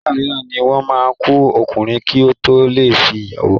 Ìgbà mííràn ni wọ́n ma ku ọkùnrin ki o to le fẹ ìyàwó.